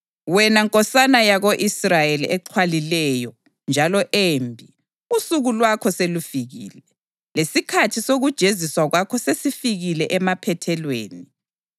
Wena nkosana yako-Israyeli exhwalileyo njalo embi, usuku lwakho selufikile, lesikhathi sokujeziswa kwakho sesifike emaphethelweni,